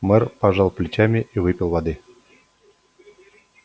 мэр пожал плечами и выпил воды